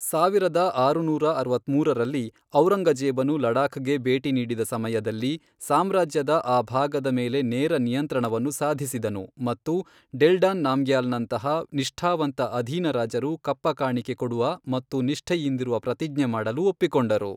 ಸಾವಿರದ ಆರುನೂರ ಅರವತ್ಮೂರರಲ್ಲಿ, ಔರಂಗಜೇಬನು ಲಡಾಖ್ಗೆ ಭೇಟಿ ನೀಡಿದ ಸಮಯದಲ್ಲಿ, ಸಾಮ್ರಾಜ್ಯದ ಆ ಭಾಗದ ಮೇಲೆ ನೇರ ನಿಯಂತ್ರಣವನ್ನು ಸಾಧಿಸಿದನು ಮತ್ತು ಡೆಲ್ಡಾನ್ ನಾಮ್ಗ್ಯಾಲ್ನಂತಹ ನಿಷ್ಠಾವಂತ ಅಧೀನರಾಜರು ಕಪ್ಪಕಾಣಿಕೆ ಕೊಡುವ ಮತ್ತು ನಿಷ್ಠೆಯಿಂದಿರುವ ಪ್ರತಿಜ್ಞೆ ಮಾಡಲು ಒಪ್ಪಿಕೊಂಡರು.